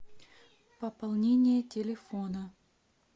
пополнение телефона